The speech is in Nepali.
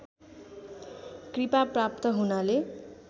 कृपा प्राप्त हुनाले